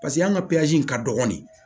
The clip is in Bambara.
Paseke an ka in ka dɔgɔnin